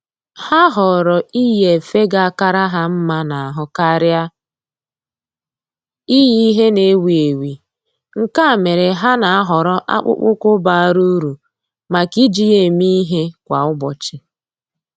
Ha họọrọ iyi efe ga akara ha mma n'ahụ karịa iyi ihe na-ewi ewi, nke a mere ha nà-àhọ́rọ́ akpụkpọ́ụkwụ́ bara uru màkà iji ya èmé ìhè kwa ụ́bọ̀chị̀